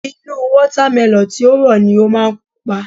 Inú Wọ́támẹlọ̀n tí ó rọ̀ ni ó máa pupa